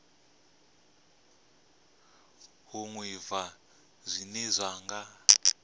u ḓivha zwine vha nga